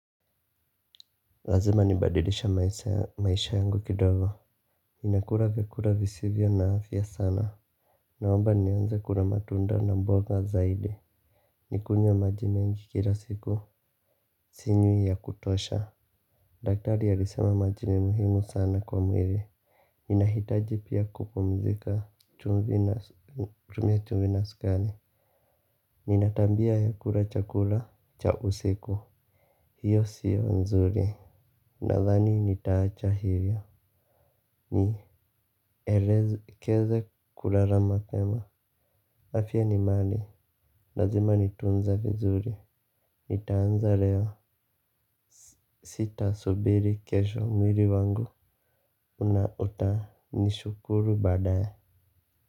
Lazima nibadilishe maisha yangu kidogo ninakula vyakula visivyo na afya sana. Naomba nianze kula matunda na mboga zaidi. Nikunywe maji mengi kila siku. Sinywi ya kutosha. Daktari alisema maji ni muhimu sana kwa mwili. Ninahitaji pia kupumzika chumvi na chumvi na sukari. Nina tabia ya kula chakula cha usiku. Hiyo siyo nzuri. Nathani nitaacha hivyo. Ni elekeze kulala mapema afya ni mali. Lazima nitunze vizuri. Nitaanza leo. Sita subiri kesho mwili wangu una utanishukuru badaye.